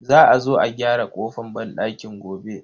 Za a zo a gyara kofan banɗakin gobe.